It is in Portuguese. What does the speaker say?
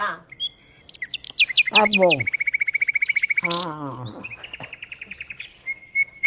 Ah, bom.